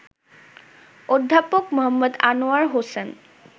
অধ্যাপক মো. আনোয়ার হোসেন